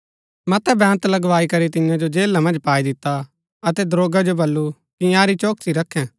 मतै बेंत लगावाईकरी तियां जो जेला मन्ज पाई दिता अतै दरोगा जो बल्लू कि इन्यारी चौकसी रखै